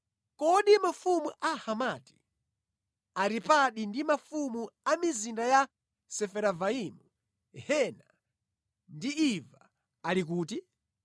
Kodi mafumu a Hamati, Aripadi ndi mafumu a mizinda ya Sefaravaimu, Hena ndi Iva, ali kuti?”